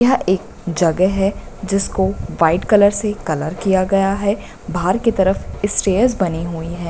यह एक जगह है जिसको व्हाइट कलर से कलर किया गया है बाहर के तरफ स्टैर्स बनी हुई है।